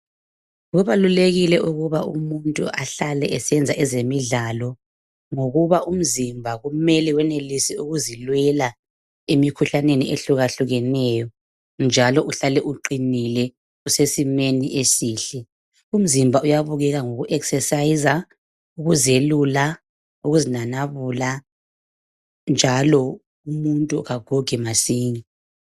Kubalulekile ukuba umuntu ahlale esenza ezemidlalo ngokuba umzimba kumele wenelise ukuzilwela emikhuhlaneni ehluka hlukaneyo njalo uhlale uqinile usesimeni esihle. Umzimba uyabukeka ngoku exerciser ,ukuzelula ukuzinanabula, njalo umuntu kagugi masinya.